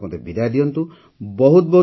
ସେପର୍ଯ୍ୟନ୍ତ ମୋତେ ବିଦାୟ ଦିଅନ୍ତୁ